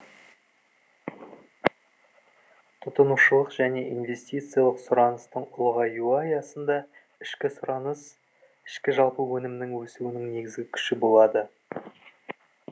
тұтынушылық және инвестициялық сұраныстың ұлғаюы аясында ішкі сұраныс іжө нің өсуінің негізгі күші болады